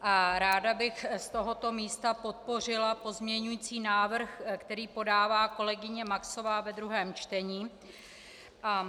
Ráda bych z tohoto místa podpořila pozměňující návrh, který podává kolegyně Maxová ve druhém čtení.